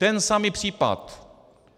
Ten samý případ.